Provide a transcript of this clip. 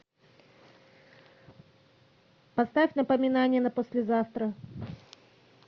поставь напоминание на послезавтра